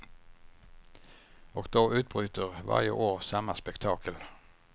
Och då utbryter varje år samma spektakel.